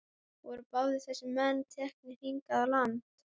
Voru báðir þessir menn teknir hingað í land.